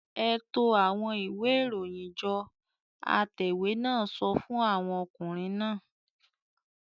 "Ẹ to àwọn ìwé-ìròyìn jọ!" Atẹ̀wé náà sọ fún àwọn ọkùnrin náà.